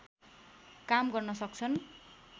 काम गर्न सक्छन्